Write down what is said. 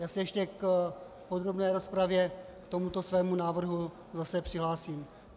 Já se ještě v podrobné rozpravě k tomuto svému návrhu zase přihlásím.